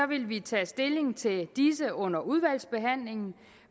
vil vi tage stilling til disse under udvalgsbehandlingen